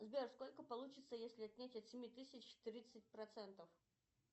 сбер сколько получится если отнять от семи тысяч тридцать процентов